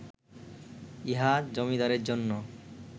ইহা জমিদারের জন্য